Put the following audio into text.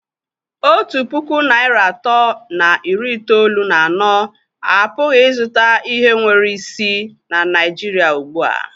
Otu puku naịra atọ na iri itoolu na anọ apụghị ịzụta ihe nwere isi na Naijiria ugbu a.